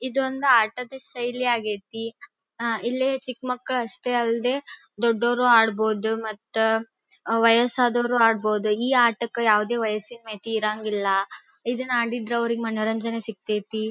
ಇದೊಂದು ಆಟದ ಶೈಲಿಯಾಗಿದೆ. ಅಹ್ ಇಲ್ಲಿ ಚಿಕ್ಕ ಮಕ್ಕಳಲ್ಲೂ ಅಷ್ಟೇ ಅಲ್ದೆ ದೊಡ್ಡವರು ಆಡಬಹುದು ಮತ್ತೆ ವಯಸ್ಸಾದವರು ಆಡಬಹುದು. ಈ ಆಟಕ್ಕೆ ಯಾವುದೇ ವಯಸ್ಸಿಲ್ಲ ಮಿತಿ ಇರಂಗಿಲ್ಲ ಇದು ಮಾಡಿದ್ರೆ ಮನರಂಜನೆ ಸಿಕ್ಕತಿ.